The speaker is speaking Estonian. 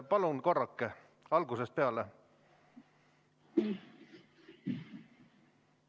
Palun korrake algusest peale!